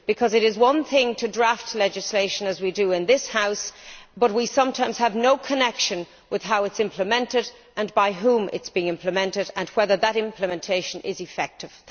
It is one thing to draft legislation, as we do in this House, but we sometimes have no connection with how it is being implemented, and by whom it is being implemented, and whether that implementation is effective.